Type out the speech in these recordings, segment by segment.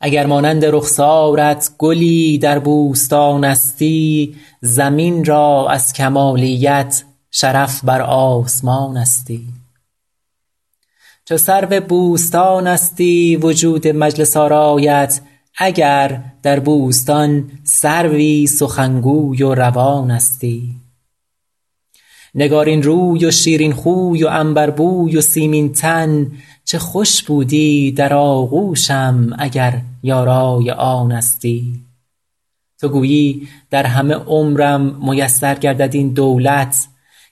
اگر مانند رخسارت گلی در بوستانستی زمین را از کمالیت شرف بر آسمانستی چو سرو بوستانستی وجود مجلس آرایت اگر در بوستان سروی سخنگوی و روانستی نگارین روی و شیرین خوی و عنبربوی و سیمین تن چه خوش بودی در آغوشم اگر یارای آنستی تو گویی در همه عمرم میسر گردد این دولت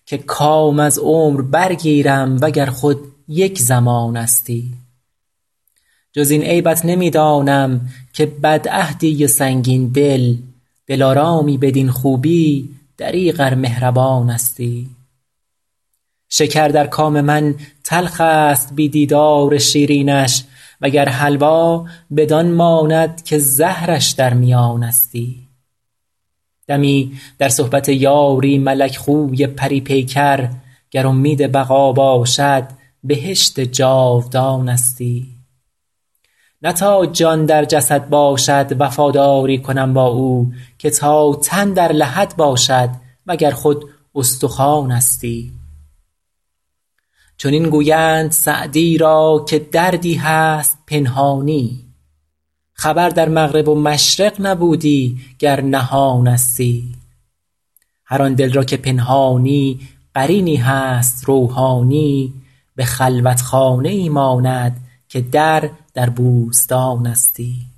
که کام از عمر برگیرم و گر خود یک زمانستی جز این عیبت نمی دانم که بدعهدی و سنگین دل دلارامی بدین خوبی دریغ ار مهربانستی شکر در کام من تلخ است بی دیدار شیرینش و گر حلوا بدان ماند که زهرش در میانستی دمی در صحبت یاری ملک خوی پری پیکر گر امید بقا باشد بهشت جاودانستی نه تا جان در جسد باشد وفاداری کنم با او که تا تن در لحد باشد و گر خود استخوانستی چنین گویند سعدی را که دردی هست پنهانی خبر در مغرب و مشرق نبودی گر نهانستی هر آن دل را که پنهانی قرینی هست روحانی به خلوتخانه ای ماند که در در بوستانستی